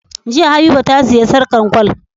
Jiya habiba ta siya sarƙar gwal